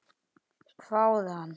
hváði hann.